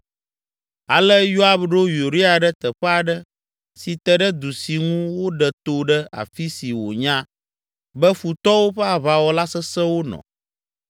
Ale Yoab ɖo Uria ɖe teƒe aɖe si te ɖe du si ŋu woɖe to ɖe afi si wònya be futɔwo ƒe aʋawɔla sesẽwo nɔ.